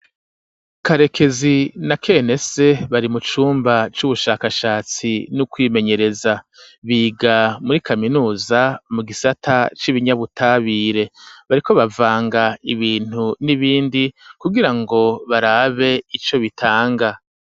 Karekezi na Kenese bari mu cumba c'ubushakashatsi n'ukwimenyereza, biga muri kaminuza mu gisata c'ibinyabutabire ,bariko bavanga ibintu n'ibindi kugira ngo barabe iyo bitanga.